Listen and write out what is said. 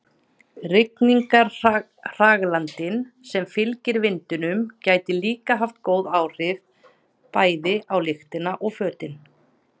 Rigningarhraglandinn sem fylgir vindinum gæti líka haft góð áhrif, bæði á lyktina og fötin.